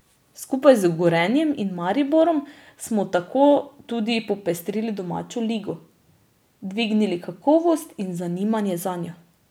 Skupaj z Gorenjem in Mariborom smo tako tudi popestrili domačo ligo, dvignili kakovost in zanimanje zanjo.